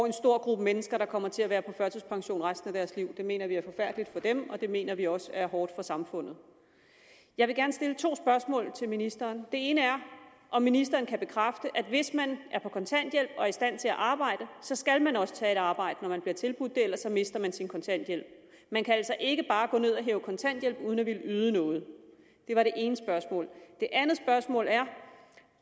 en stor gruppe mennesker der kommer til at være på førtidspension resten af deres liv det mener vi er forfærdeligt for dem og det mener vi også er hårdt for samfundet jeg vil gerne stille to spørgsmål til ministeren det ene er om ministeren kan bekræfte at hvis man er på kontanthjælp og er i stand til at arbejde så skal man også tage et arbejde når man bliver tilbudt det ellers mister man sin kontanthjælp man kan altså ikke bare gå ned og hæve kontanthjælp uden at ville yde noget det var det ene spørgsmål det andet spørgsmål er